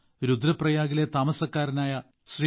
രുദ്രപ്രയാഗിലെ താമസക്കാരനായ ശ്രീ